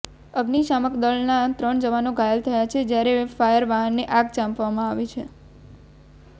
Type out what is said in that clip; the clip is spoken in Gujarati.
અગ્નિશામક દળના ત્રણ જવાનો ઘાયલ થયા છે જ્યારે ફાયર વાહનને આગ ચાંપવામાં આવી છે